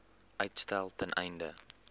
uitstel ten einde